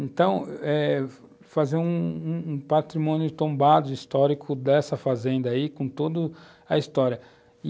Então, eh, fazer um patrimônio tombado histórico dessa fazenda aí, com toda a história.